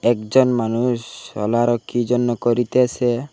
একজন মানুষ সোলারো কি জন্য করিতেসে।